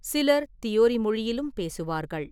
சிலர் தியோரி மொழியிலும் பேசுவார்கள்.